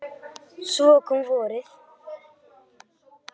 Svo kom vorið.